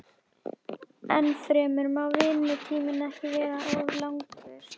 Ennfremur má vinnutíminn ekki vera of langur.